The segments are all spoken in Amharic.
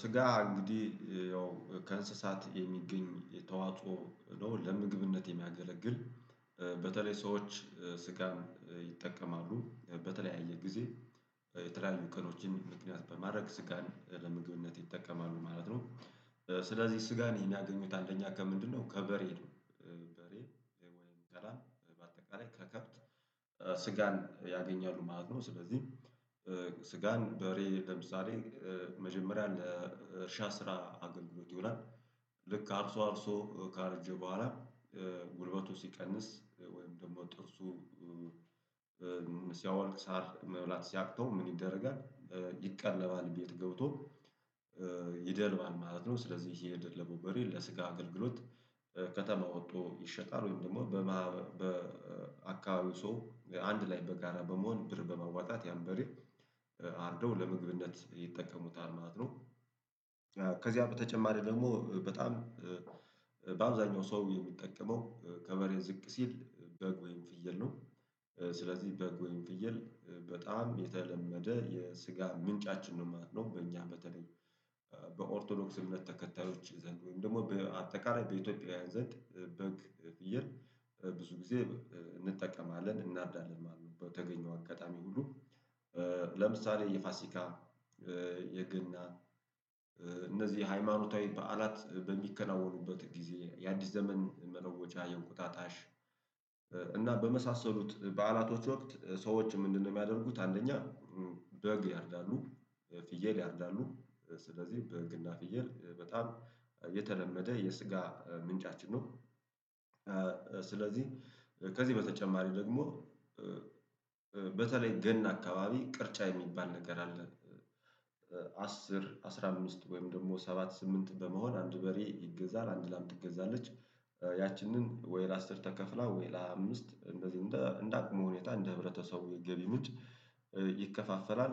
ስጋ እንግዲህ ያው ከእንስሳት የሚገኝ የተዋጾ ነው ለምግብነት የሚያገለግል በተለይ ሰዎች ስጋን ይጠቀማሉ በተለያየ ጊዜ የተለያዩ ቀኖችን ምክንያት በማድረግ ስጋን ለምግብነት ይጠቀማሉ ማለት ነው። ስለዚህ ስጋን የሚያገኙት አንደኛ ከምንድነው ከበሬ? በሬ ወይም ከላም በአጠቃላይ ከከብት ስጋን ያገኛሉ ማለት ነው። ስለዚህ ስጋን በሬ ለምሳሌ መጀመሪያ ለእርሻ ስራ አገልግሎት ይውላል። ልክ አርሶ አርሶ ካረጀ በኋላ ጉልበቱ ሲቀንስ ወይም ደግሞ ጥርሱ ሲያወልቅ ሳር መብላት ሲያቅተው ምን ይደረጋል? ይቀለባል ቤት ገብቶ ይደልባል ማለት ነው። ስለዚህ ይሄ የደለበው በሬ ለስጋ አገልግሎት ከተማ ወጥቶ ይሸጣል። ወይም ደግሞ በአካባቢ ሰው አንድ ላይ በጋራ በመሆን ብር በመዋጣት ያን በሬ አርዶ ለምግብነት ይጠቀሙታል ማለት ነው። ከዚያ በተጨማሪ ደግሞ በጣም በአብዛኛው ሰው የሚጠቀመው ከበሬ ዝቅ ሲል በግ ወይም ፍየል ነው። ስለዚህ በግ ወይም ፍየል በጣም የተለመደ የስጋ ምንጫችን ነው ማለት ነው። በእኛ በተለይ በኦርቶዶክስ እምነት ተከታዮች ዘንድ ወይም ደግሞ በአጠቃላይ በኢትዮጵያውያን ዘንድ በግ ፍየል ብዙ ጊዜ እንጠቀማለን እናርዳለን ማለት ነው። በተገኘው አጋጣሚ ሁሉ ለምሳሌ የፋሲካ የገና እነዚህ ሃይማኖታዊ በዓላት በሚከናወኑበት ጊዜ የአዲስ ዘመን መለወጫ የእንቁጣጣሽ እና በመሳሰሉት በዓላቶች ወቅት ሰዎችም ምንድነው የሚያደርጉት አንደኛ በግ ያርዳሉ ፍየል ያርዳሉ ስለዚህ በግና ፍየል በጣም የተለመደ የስጋ ምንጫችን ነው። ስለዚህ ከዚህ በተጨማሪ ደግሞ በተለይ ገና አካባቢ ቅርጫ የሚባል ነገር አለ። አስር አስራ አምስት ወይም ደግሞ ሰባት ስምንት በመሆን አንድ በሬ ይገዛል አንድ ላም ትገዛለች ያችንን ወይ ለአስር ተከፍሏል ወይ ለአምስት እንደዚህ እንዳቅሙ ሁኔታ እንደ ህብረተሰቡ ገቢ ምንጭ ይከፋፈላል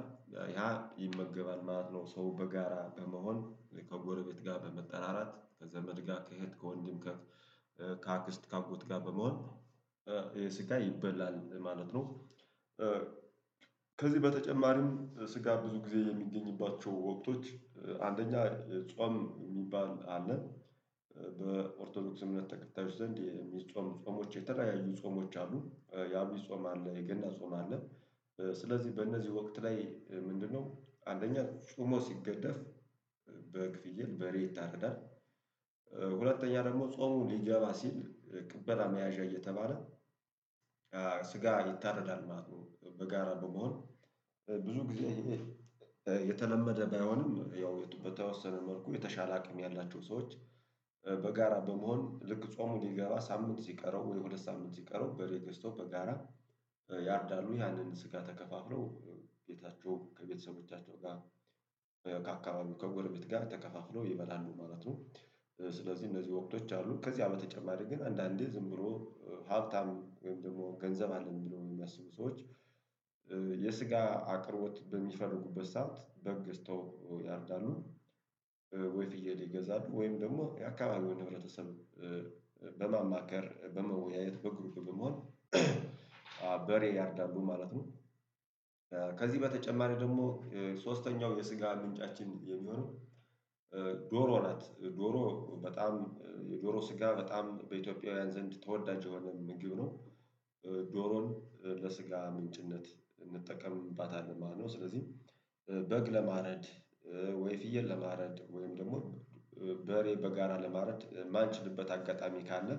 ያ ይመገባል ማለት ነው። ሰው በጋራ በመሆን ከጎረቤት ጋር በመጠራራት ከዘመድ ጋር ከእህት ከወንድም ከአክስት ከአጎት ጋር በመሆን ስጋ ይበላል ማለት ነው። ከዚህ በተጨማሪም ስጋ ብዙ ጊዜ የሚገኝባቸው ወቅቶች አንደኛ ጾም የሚባል አለን። በኦርቶዶክስ እምነት ተከታዮች ዘንድ የሚጾም ጾሞች የተለያዩ ጾሞች አሉ የሀምሌ ጾም አለ የገና ጾም አለ። ስለዚህ በእነዚህ ወቅት ላይ ምንድነው አንደኛ ጾሞ ሲገደፍ በግ ፍየል በሬ ይታረዳል። ሁለተኛ ደግሞ ጾሙ ሊገባ ሲል ቅበላ መያዣ እየተባለ ስጋ ይታረዳል ማለት ነው። በጋራ በመሆን ብዙ ጊዜ የተለመደ ባይሆንም ያው በተወሰነ መልኩ የተሻለ አቅም ያላቸው ሰዎች በጋራ በመሆን ልክ ጾሙ ሊገባ ሳምንት ሲቀረው ወይ ሁለት ሳምንት ሲቀረው በሬ ገስተው በጋራ ያርዳሉ ያንን ስጋ ተከፋፍለው ቤታቸው ከቤተሰቦቻቸው ጋር ከአካባቢ ከጎረቤት ጋር ተከፋፍለው ይበላሉ ማለት ነው። ስለዚህ እነዚህ ወቅቶች አሉ ከዚህ በተጨማሪ ግን አንዳንዴ ዝም ብሎ ሀብታም ወይም ደግሞ ገንዘብ አለኝ ብለው የሚያስቡ ሰዎች የስጋ አቅርቦት በሚፈልጉበት ሰዓት በግ ገስተው ያርዳሉ። ወይ ፍየል ይገዛሉ ወይም ደግሞ የአካባቢውን ህበረተሰብ በማማከር በመወያየት በግሩፕ በመሆን በሬ ያርዳሉ ማለት ነው። ከዚህ በተጨማሪ ደግሞ ሶስተኛው የስጋ ምንጫችን የሚሆነው ዶሮ ናት ዶሮ በጣም የዶሮ ስጋ በጣም በኢትዮጵያውያን ዘንድ ተወዳጅ የሆነ ምግብ ነው። ዶሮን ለስጋ ምንጭነት እንጠቀምባታለን ማለት ነው። ስለዚህ በግ ለማረድ ወይ ፍየል ለማረድ ወይም ደግሞ በሬ በጋራ ለማረድ የማንችልበት አጋጣሚ ካለ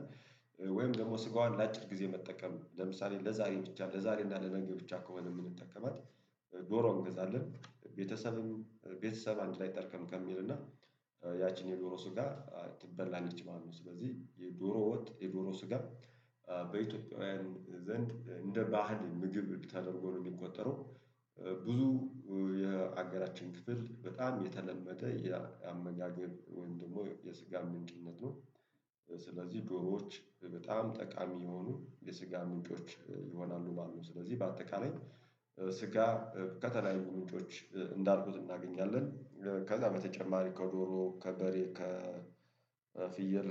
ወይም ደግሞ ስጋዋን ለአጭር ጊዜ መጠቀም ለምሳሌ ለዛሬ ብቻ ለዛሬ እና ለነገ ብቻ ከሆነ ምንጠቀማት። ዶሮ እንገዛለን ቤተሰብም ቤተሰብ አንድ ላይ ጠርከም ከሚልና ያቺን የዶሮ ስጋ ትበላለች ማለት ነው። ስለዚህ የዶሮ ወጥ የዶሮ ስጋ በኢትዮጵያውያን ዘንድ እንደ ባህል ምግብ ተደርገው ነው የሚቆጠረው። ብዙ የሀገራችን ክፍል በጣም የተለመደ የአመጋገብ ወይም ደግሞ የስጋ ምንጭነት ነው። ስለዚህ ዶሮዎች በጣም ጠቃሚ የሆኑ የስጋ ምንጮች ይሆናሉ ማለት ነው። ስለዚህ በአጠቃላይ ስጋ ከተለያዩ ምንጮች እንዳልኩት እናገኛለን። ከዛ በተጨማሪ ከዶሮ ከበሬ ከፍየል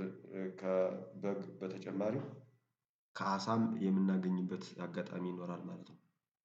ከበግ በተጨማሪው ከአሳም የምናገኝበት አጋጣሚ ይኖራል ማለት ነው